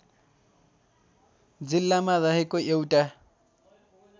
जिल्लामा रहेको एउटा